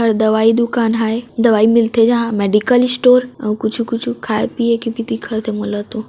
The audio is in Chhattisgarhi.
आउ दवाई दुकान है दवाई मिलथे यहां मेडिकल स्टोर और कुछु कुछु खाए पीए भी दिखत है मोला तो।